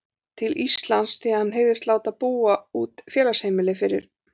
til Íslands, því að hann hygðist láta búa út félagsheimili fyrir